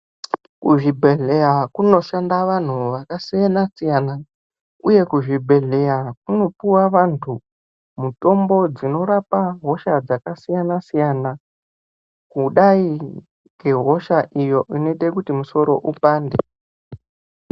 Kuzvibhedhlera kunoshanda vantu vakasiyana-siyana uye kuzvibhedhlera kunopuwa vantu mitombo dzinorapa hosha dzakasiyana-siyana kudai ngehosha iyo inoite kuti musoro upande.